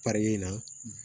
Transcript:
in na